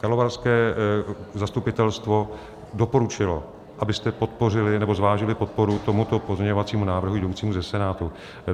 Karlovarské zastupitelstvo doporučilo, abyste podpořili nebo zvážili podporu tomuto pozměňovacímu návrhu jdoucímu ze Senátu.